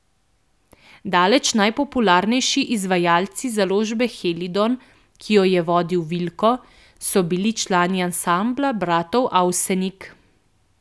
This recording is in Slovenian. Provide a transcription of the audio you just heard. Daleč najpopularnejši izvajalci založbe Helidon, ki jo je vodil Vilko, so bili člani ansambla bratov Avsenik.